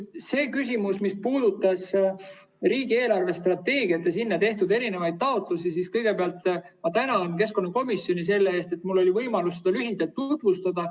See, mis puudutab riigi eelarvestrateegiat ja sinna tehtud taotlusi, siis kõigepealt ma tänan keskkonnakomisjoni selle eest, et mul oli võimalus seda lühidalt tutvustada.